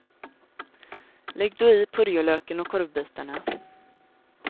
Lägg då i purjolöken och korvbitarna.